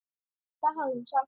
Það hafði hún sagt.